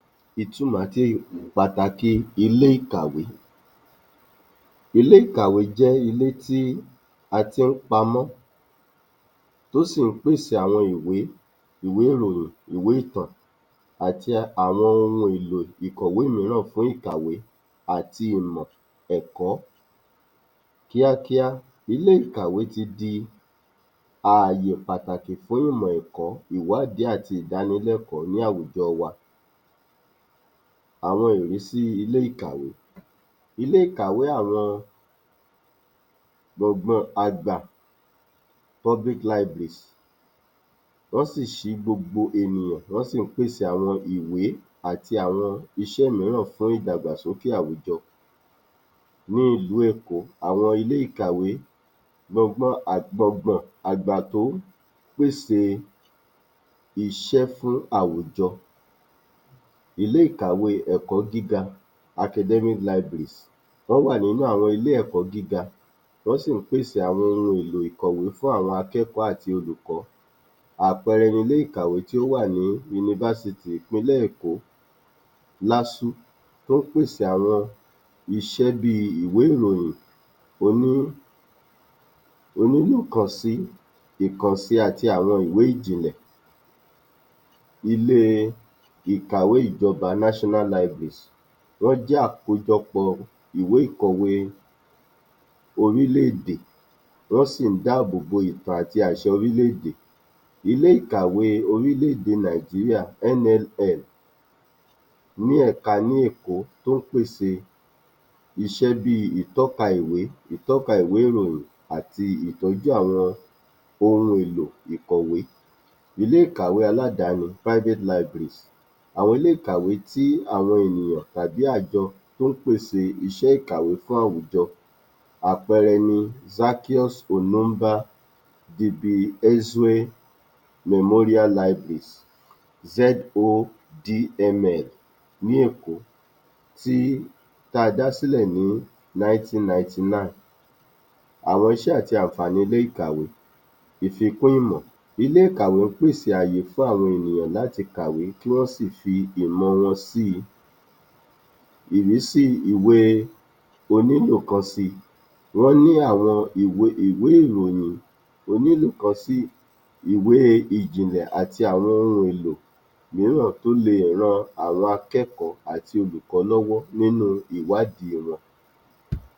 Ìtumọ̀ àti pàtàkì ilé-ìkàwé Ilé-ìkàwé jẹ́ ilé tí a tí ń pamọ́ tó sì ń pèsè àwọn ìwé, ìwé ìròyìn, ìwé ìtàn, àti àwọn ohun èlò ìkọ̀wé mìíràn fún ìkàwé àti ìmọ̀ ẹ̀kọ́ kíákíá. Ilé-ìkàwé ti di àyè pàtàkì fún ìmọ̀ ẹ̀kọ́, ìwádìí àti ìdanilẹ́kọ̀ọ́ ní àwùjọ wa. Àwọn ìrísí ilé-ìkàwé, ilé-ìkàwé àwọn gbọ̀gan àgbà, public libraries, wọ́n sì ṣí fún gbogbo ènìyàn, wọ́n sì ń pèsè àwọn ìwé àti àwọn iṣẹ́ mìíràn fún ìdàgbàsókè àwùjọ. Ní ìlú èkó, àwọn ilé-ìkàwé, gbọ̀gàn àgbà tó ń pèsè iṣẹ́ fún àwùjọ. Ilé-ìkàwé ẹ̀kọ́ gíga academic libraries, wọ́n wà nínú àwọn ilé-ẹ̀kọ́ gíga, wọ́n sì ń pèsè àwọn ohun èlò ìkọ̀wé fún àwọn akẹ́kọ̀ọ́ àti olùkọ́, àpẹẹrẹ ilé-ìkàwé tí ó wà ní fásitì ìlú Èkó[LASU] tó ń pèsè àwọn iṣẹ́ bí ìwé-ìròyìn onílòkansi, àti àwọn ìwé ìjìnlẹ̀. Ilé-ìkàwé ìjọba, national libraries, wọ́n jẹ́ àkójọpọ̀ ìwé ìkọ̀wé orílẹ̀-èdè, wọ́n sì dábòbò ìtàn àti àṣà orílẹ̀-èdè. Ilé-ìkàwé ti orílẹ̀-èdè Nàìjíríà[NLL] ní ẹ̀ka ní Èkó tí ó ń pèsè iṣẹ́ bi ìtọ́ka ìwé, ìtọ́ka ìwé-ìròyìn àti ìtọ́jú àwọn ohun èlò ìkọ̀wé. Ilé-ìkàwé aládani, private libraries, àwọn ilé-ìkàwé tí ènìyàn tàbí àjọ tí ó pèsè iṣẹ́ ìkàwé fún àwùjọ, àpẹẹrẹ Zaccheus Onumba Dibiaezue Memorial Libraries[ZODML], ní Èkó tí a dá sílẹ̀ ní 1999. Àwọn iṣẹ́ àti àǹfààní ilé-ìkàwé, ìfikún ìmọ̀, ilé-ìkàwé ń pèsè àyè fún àwọn èèyan láti kàwe kí wọ́n sì fi ìmọ̀ wọn si. Ìrísí ìwé onílòkansi, wọ́n ní àwọn ìwé ìròyìn onílòkansi, ìwé ìjìnlẹ̀ àti àwọn èlò mìíràn tó lè ran àwọn akẹ́kọ̀ọ́ àti olùkọ́ lọ́wọ́ nínú ìwádìí wọn.